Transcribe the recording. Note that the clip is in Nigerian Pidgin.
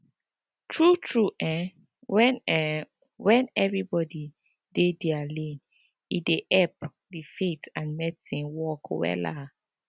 tru tru eh wen eh wen everybodi dey dia lane e dey epp di faith and medicine work wella